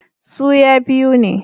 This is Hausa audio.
Su ya biu ne